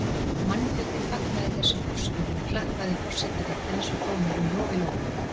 Mannfjöldinn fagnaði þessum úrskurði og klappaði forseta réttarins og dómurum lof í lófa.